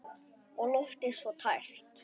Og loftið svo tært.